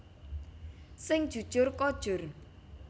Sing jujur kojur